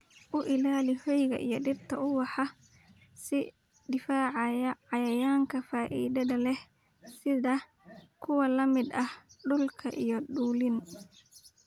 U ilaali hoyga iyo dhirta ubaxa ee cidhifyada cayayaanka faa'iidada leh sida kuwa lamid ah dhulka iyo dulin.